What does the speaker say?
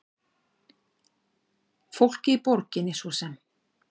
Fólkið í borginni svo eins.